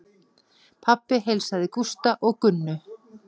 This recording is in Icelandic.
Pabbi heilsaði Gústa og Gunnu.